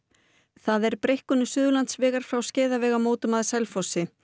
það er breikkun Suðurlandsvegar frá Skeiðavegamótum að Selfossi